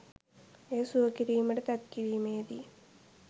එය සුව කිරීමට තැත් කිරීමේදී